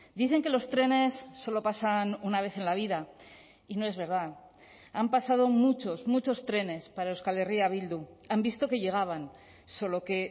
dicen que los trenes solo pasan una vez en la vida y no es verdad han pasado muchos muchos trenes para euskal herria bildu han visto que llegaban solo que